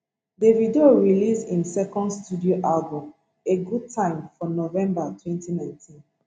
davido release im second studio album a good time for november 2019